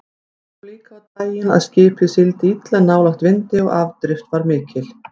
Það kom líka á daginn að skipið sigldi illa nálægt vindi og afdrift var mikil.